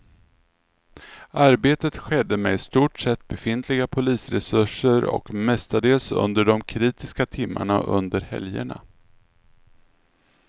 Arbetet skedde med i stort sett befintliga polisresurser och mestadels under de kritiska timmarna under helgerna.